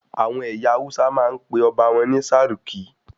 Àwọn ẹyà Hausa máa ń pe ọba wọn ní "sarki"